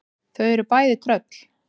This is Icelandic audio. Þau eru bæði tröll.